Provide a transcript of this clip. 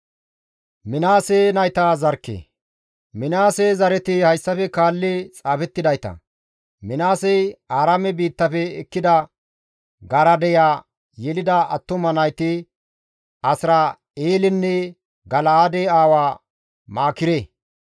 Minaase zareti hayssafe kaalli xaafettidayta; Minaasey Aaraame biittafe ekkida garadeya yelida attuma nayti Asira7eelenne Gala7aade aawa Maakire.